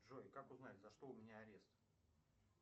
джой как узнать за что у меня арест